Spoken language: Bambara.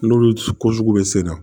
N'olu ko sugu bɛ sen na